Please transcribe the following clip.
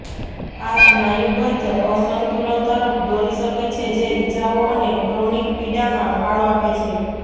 આ સ્નાયુબદ્ધ અસંતુલન તરફ દોરી શકે છે જે ઇજાઓ અને ક્રોનિક પીડામાં ફાળો આપે છે